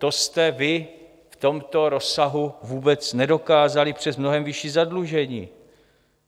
To jste vy v tomto rozsahu vůbec nedokázali přes mnohem vyšší zadlužení.